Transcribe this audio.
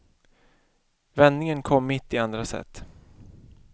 Vändningen kom mitt i andra set.